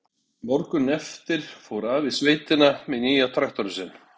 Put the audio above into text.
Morguninn eftir fór afi í sveitina með nýja traktorinn sinn.